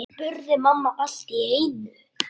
spurði mamma allt í einu.